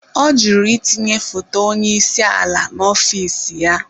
Ọ jụrụ itinye foto onye isi ala n'ọfịs ya.